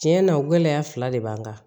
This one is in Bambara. Tiɲɛ na o gɛlɛya fila de b'an kan